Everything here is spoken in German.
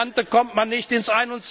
Auf Rosinante kommt man nicht ins